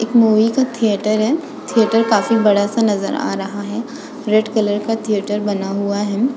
एक मूवी का थिएटर है। थिएटर काफी बड़ा-सा नज़र आ रहा है। रेड कलर का थिएटर बना हुआ है।